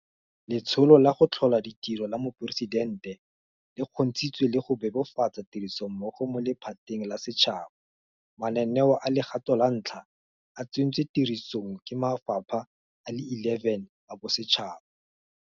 Letsholo la go Tlhola Ditiro la Moporesidente le kgontshitse le go bebofatsa tirisanommogo mo lephateng la setšhaba. Mananeo a legato la ntlha a tsentswe tirisong ke mafapha a le 11 a bosetšhaba.